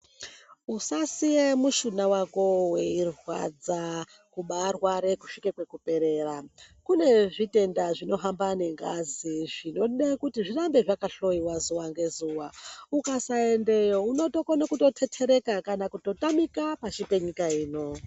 Usasiye mushuna wako weirwadza, kubaarware kusvika kwekuperera. Kune zvitenda zvinohamba nengazi zvinoda kuti zvirambe zvakahloiwa zuva ngezuva. Ukasaendeyo unotokone kutothethereka kana kutotamika pashi penyika ino.